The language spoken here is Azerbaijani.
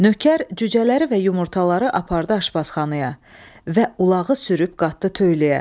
Nökər cücələri və yumurtaları apardı aşbazxanaya və ulağı sürüb qatdı töyləyə.